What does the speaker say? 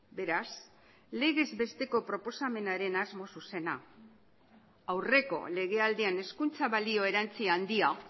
beraz legez besteko proposamenaren asmo zuzena aurreko lege aldian hezkuntza balio erantsi handia